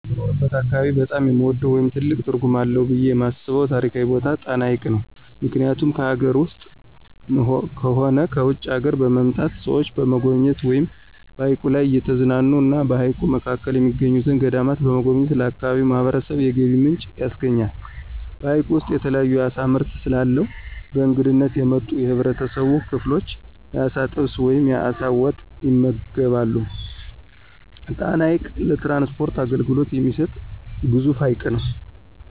በምኖርበት አካባቢ በጣም የምወደው ወይም ትልቅ ትርጉም አለው ብየ የማስበው ታሪካዊ ቦታ ጣና ሀይቅ ነው። ምክኒያቱም ከአገር ውስጥም ሆነ ከውጭ አገሮች በመምጣት ሰዎች በመጎብኘት ወይም በሀይቁ ላይ እየተዝናኑ እና በሀይቁ መካከል የሚገኙትን ገዳማት በመጎብኘት ለአካባቢው ማህበረሰብ የገቢ ምንጭ ያስገኛል። በሀይቁ ውስጥ የተለያዩ የአሳ ምርት ስለአለው በእንግድነት የመጡ የህብረተሰብ ክፍሎች የአሳ ጥብስ ወይም የአሳ ወጥ ይመገባሉ። ጣና ሀይቅ ለትራንስፖርት አገልግሎት የሚሰጥ ግዙፍ ሀይቅ ነው።